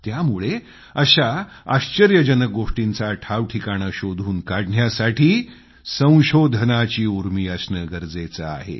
त्यामुळे अशा आश्चर्यजनक गोष्टींचा ठावठिकाणा शोधून काढण्यासाठी संशोधनाची उर्मी असणं गरजेचं आहे